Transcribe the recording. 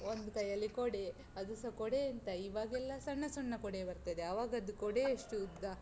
ಒಂದು ಕೈಯಲ್ಲಿ ಕೊಡೆ. ಅದುಸ ಕೊಡೆ ಎಂತ, ಇವಗೆಲ್ಲ ಸಣ್ಣ ಸಣ್ಣ ಕೊಡೆ ಬರ್ತದೆ, ಆವಾಗದ್ದು ಕೊಡೆ ಎಷ್ಟು ಉದ್ದ?